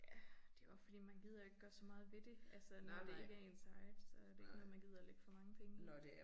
Ja det jo også fordi man gider ikke gøre så meget ved det altså når det ikke er ens eget så det ikke noget man gider lægge for mange penge i